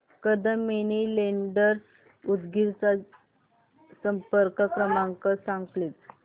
Kadam money lenders Udgir चा संपर्क क्रमांक सांग प्लीज